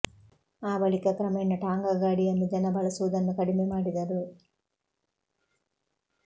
ಆ ಬಳಿಕ ಕ್ರಮೇಣ ಟಾಂಗಾ ಗಾಡಿಯನ್ನು ಜನ ಬಳಸುವುದನ್ನು ಕಡಿಮೆ ಮಾಡಿದರು